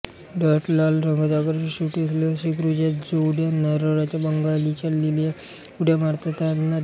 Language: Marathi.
दाट लाल रंगाचा आकर्षक शेपटी असलेल्या शेकरूच्या जोड्या नारळाच्या बागांमधून लीलया उड्या मारताना दिसतात